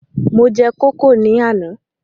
Mo jẹ kókò ní àná